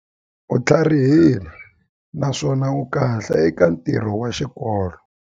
U tlharihile naswona u kahle eka ntirho wa xikolo.